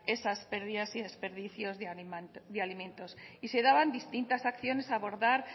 esas pérdidas y desperdicios de alimentos y se daban distintas acciones a abordar